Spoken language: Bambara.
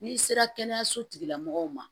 N'i sera kɛnɛyaso tigila mɔgɔw ma